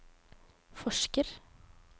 forsker